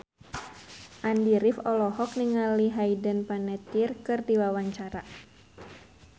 Andy rif olohok ningali Hayden Panettiere keur diwawancara